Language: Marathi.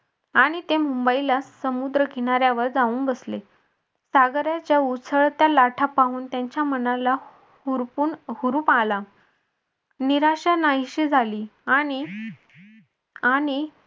आणि ते मुंबईला समुद्रकिनाऱ्यावर जाऊन बसले सागरच्या उथळत्या लाटा पाहून त्यांच्या मनाला हुरपुन हुरूप आला निराशा नाहीशी झाली आणि आणि